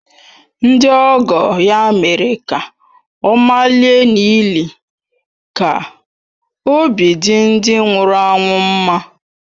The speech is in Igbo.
Ndị ọgọ ya mere ka ọ malie n’ili ka obi dị ndị nwụrụ anwụ mma